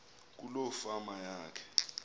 kuloo fama yakhe